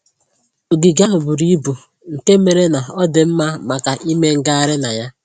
Ogige ahụ buru ibu nke mere na ọ dị mma maka ime ngagharị na ya